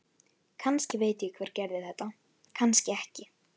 Kannski veit ég hver gerði þetta, kannski ekki.